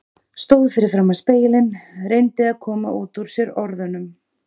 Stóð fyrir framan spegilinn, reyndi að koma út úr sér orðunum